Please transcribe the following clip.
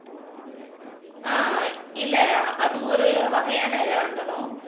அஹ் இல்ல அது ஒரு வகையான இதா இருந்தாலும்